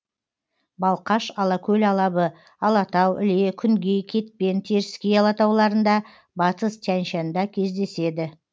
балқаш алакөл алабы алатау іле күнгей кетпен теріскей алатауларында батыс тянь шанда кездеседі